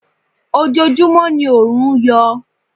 Ojojúmọ́ ni oòrùn yọ.